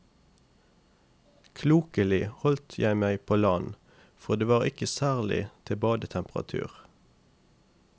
Klokelig holdt jeg meg på land, for det var ikke særlig til badetemperatur.